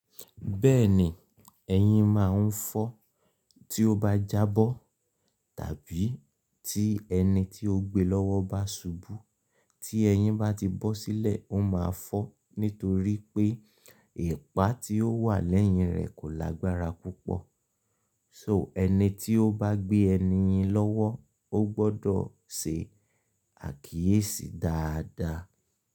Bẹ́ẹ̀ni, ẹyin máa ń fọ́ tí ó bá jábọ́ tàbí tí ẹni tí ó gbe lọ́wọ́ bá ṣubú. Tí ẹyin bá ti bọ́ sílẹ̀, ó máa fọ́ nítorí pé ipa tí ó wà lẹ́yìn rẹ̀ kò lágbára púpọ̀. So ẹni tí ó bá gbé ẹni yin lọ́wọ́ ó gbọdọ̀ se àkíyèsí dáadáa.